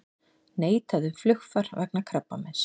Neitað um flugfar vegna krabbameins